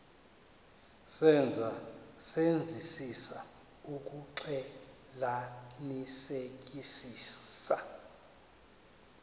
senzeka senzisisa ukuxclelanisekisisa